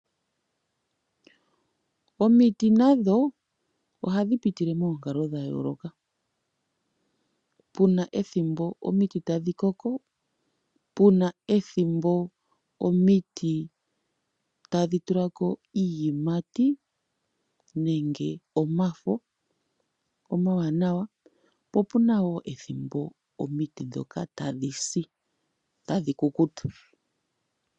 Omiti nadho ohadhi pitile moonkalo dhayooloka puna ethimbo omiti tadhi koko, puna ethimbo omiti tadhi tulako iiyimati nenge omafo omawana po puna wo ethimbo omiti ndhoka tadhi si nenge tadhi kukuta.